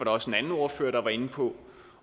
også en anden ordfører der var inde på